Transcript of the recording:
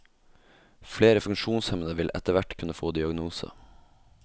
Flere funksjonshemmede vil etterhvert kunne få diagnose.